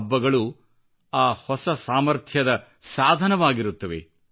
ಹಬ್ಬಗಳು ಆ ಹೊಸ ಸಾಮರ್ಥ್ಯದ ಸಾಧನವಾಗಿರುತ್ತವೆ